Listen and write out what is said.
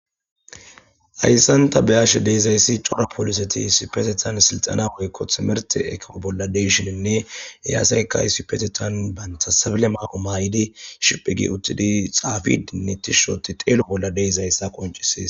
Hayssanta beyashe deezayssi cora poliseti sipetetan silxana qoykko thimerte ekofo bolla deyshininne eyaasayka isipetetan bantha sabile maaqo maa7idi shiphigi uttidi xaafi dinnittishsooti teelo bolla de'izayssa qoncisiis